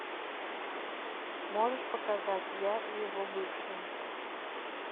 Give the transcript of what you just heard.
можешь показать я и его бывшая